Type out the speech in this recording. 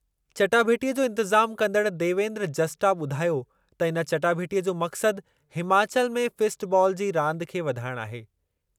चटाभेटीअ जो इंतिज़ामु कंदड़ु देवेन्द्र जस्टा ॿुधायो त इन चटाभेटीअ जो मक़सदु हिमाचल में फिस्ट बालु जी रांदि खे वधाइण आहे।